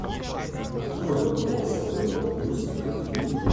открой бокс тв плюс на телевизоре